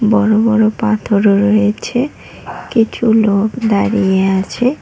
বড় বড় পাথরও রয়েছে কিছু লোক দাঁড়িয়ে আছে।